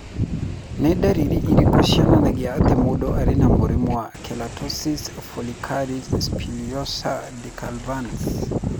Nĩ ndariri irĩkũ cionanagia atĩ mũndũ arĩ na mũrimũ wa Keratosis follicularis spinulosa decalvans?